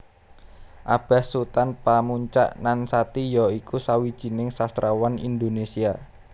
Abas Sutan Pamuntjak Nan Sati ya iku sawijining sastrawan Indonesia